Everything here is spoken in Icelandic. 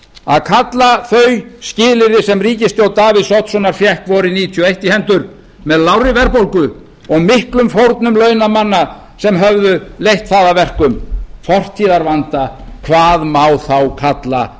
að kalla þau skilyrði sem ríkisstjórn davíðs oddssonar fékk vorið nítján hundruð níutíu og eitt í hendur með lágri verðbólgu og miklum fórnum launamanna sem höfðu leitt það að verkum fortíðarvanda hvað má þá kalla